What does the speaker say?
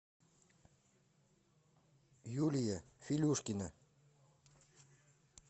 юлия филюшкина